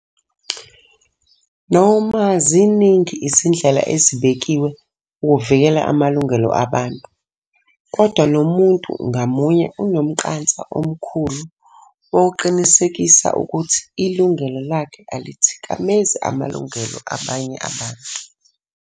Noma ziningi izindlela ezibekiwe ukuvikela amalungelo abantu, kodwa nomuntu ngamunye unomqansa omkhulu wokuqinisekisa ukuthi ilungelo lakhe alithikamezi amalungelo abanye abantu.